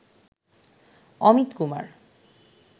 Amit Kumar